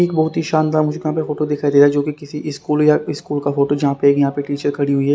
एक बहुत ही शानदार मुझको यहाँ पे फोटो दिखाई दे रहा है जो कि किसी स्कूल या स्कूल का फोटो जहां पे यहाँ पे टीचर खड़ी हुई है।